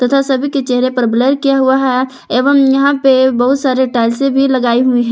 तथा सभी के चेहरे पर ब्लर किया हुआ है एवं यहां पे बहुत सारे टाइल्से भी लगाई हुई है।